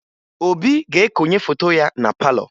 Obi ga-ekonye foto ya na palọ